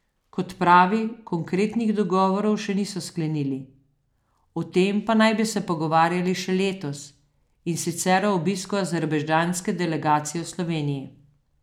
Kot pravi, konkretnih dogovorov še niso sklenili, o tem pa naj bi se pogovarjali še letos, in sicer ob obisku azerbajdžanske delegacije v Sloveniji.